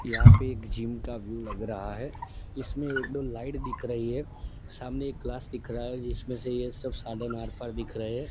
यहां पे एक जिम का व्यू लग रहा है इसमें एक दो लाइट दिख रही है सामने एक ग्लास दिख रहा है जिसमें से ये सब साधन आर पार दिख रहे हैं।